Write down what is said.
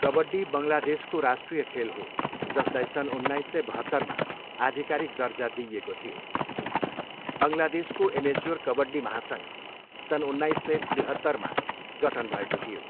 कबड्डी बङ्गलादेशको राष्ट्रिय खेल हो, जसलाई सन् उन्नाइस सय बहत्तरमा आधिकारिक दर्जा दिइएको थियो। बङ्गलादेशको एमेच्योर कबड्डी महासङ्घ सन् उन्नाइस सय त्रिहत्तरमा गठन भएको थियो।